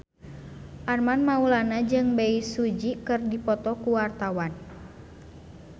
Armand Maulana jeung Bae Su Ji keur dipoto ku wartawan